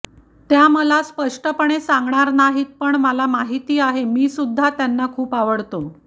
त्या मला स्पष्टपणे सांगणार नाहीत पण मला माहिती आहे मीसुद्धा त्यांना खूप आवडतो